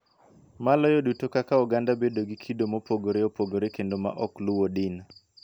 Maloyo duto kaka oganda bedo gi kido mopogore opogore kendo ma ok luwo din.